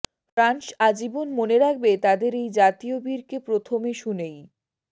France আজীবন মনে রাখবে তাদের এই জাতীয় বীরকে প্রথমে শুনেই